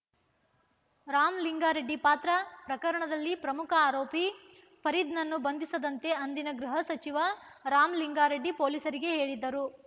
ರಾಮಲಿಂಗಾರೆಡ್ಡಿ ಪಾತ್ರ ಪ್ರಕರಣದಲ್ಲಿ ಪ್ರಮುಖ ಆರೋಪಿ ಫರೀದ್‌ನನ್ನು ಬಂಧಿಸದಂತೆ ಅಂದಿನ ಗೃಹ ಸಚಿವ ರಾಮಲಿಂಗಾರೆಡ್ಡಿ ಪೊಲೀಸರಿಗೆ ಹೇಳಿದ್ದರು